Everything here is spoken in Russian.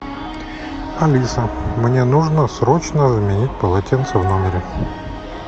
алиса мне нужно срочно заменить полотенце в номере